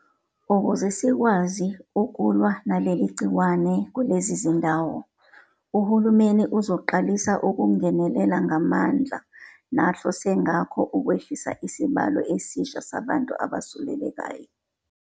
Ukuze sikwazi ukulwa naleli gciwane kulezi zindawo, uhulumeni uzoqalisa ukungenelela ngamandla nahlose ngakho ukwehlisa isibalo esisha sabantu abesulelekayo.